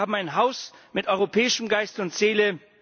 Wir haben ein Haus mit europäischem Geist und Seele.